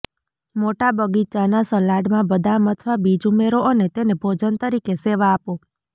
મોટા બગીચાના સલાડમાં બદામ અથવા બીજ ઉમેરો અને તેને ભોજન તરીકે સેવા આપો